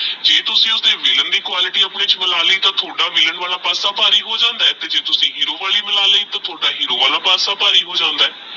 ਵਿਲ੍ਲਾਂ ਦੇ ਕੁਆਲਿਟੀ ਆਪਣੇ ਚ ਵਾਦਾ ਲੀਤੀ ਤੇਹ ਤਾਹੁਦਾ ਵਿਲ੍ਲਾਂ ਵਾਲਾ ਪਾਸ੍ਸਾ ਭਾਰੀ ਹੋ ਜਾਂਦਾ ਆਹ ਜੇ ਤੁਸੀਂ ਹੇਰੋ ਵਾਲੀ ਵਾਦਾ ਲੈ ਤੇਹ ਹੇਰੋ ਵਾਲਾ ਪਾਸਾ ਭਾਰੀ ਹੋ ਜਾਂਦਾ ਆਹ